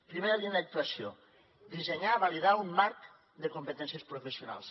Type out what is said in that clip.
primera línia d’ac tuació dissenyar i validar un marc de competències professionals